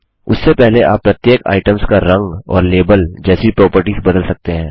उससे पहले आप प्रत्येक आइटम्स का रंग और लेबल जैसी प्रापर्टीस बदल सकते हैं